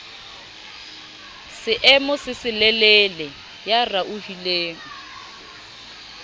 seemo se selelele ya raohileng